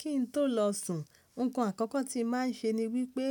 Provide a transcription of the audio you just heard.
Kí n tó lọ sùn, nnkan àkọ́kọ́ tí màá ń ṣe ni wípé